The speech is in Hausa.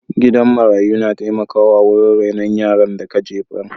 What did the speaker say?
Gidan marayu na taimakawa wurin rainon yaran da ka jefar.